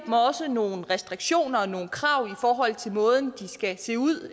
også nogle restriktioner og nogle krav i forhold til måden de skal se ud